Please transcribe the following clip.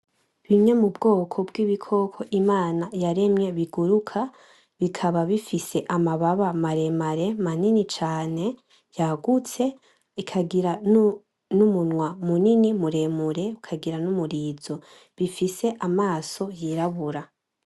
Bimwe mubwoko bw’ibikoko Imana yaremye biguruka, bikaba bifise amababa maremare, manini cane yagutse, ikagira n’umunwa munini, muremure, ukagira n’umurizo. Bifise amaso yirabura.